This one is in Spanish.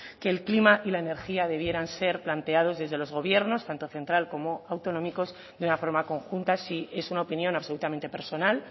que el clima y la energía debieran ser planteados desde los gobiernos tanto central como autonómicos de una forma conjunta sí es una opinión absolutamente personal